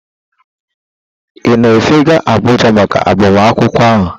Ị na-efega Abuja maka agbamakwụkwọ ahụ?